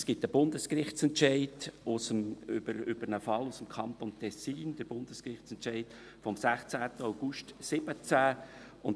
Es gibt einen Bundesgerichtsentscheid über einen Fall aus dem Kanton Tessin, den Bundesgerichtsentscheid vom 16. August 2017